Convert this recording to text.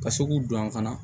Ka se k'u don an fana